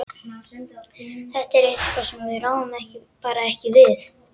Þetta er eitthvað sem við ráðum bara ekki við.